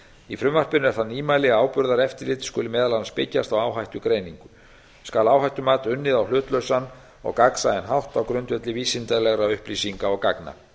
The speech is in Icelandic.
í frumvarpinu er það nýmæli að áburðareftirlit skal meðal annars byggjast á áhættugreiningu skal áhættumat unnið á hlutlausan og gagnsæjan hátt á grundvelli vísindalegra upplýsinga og gagna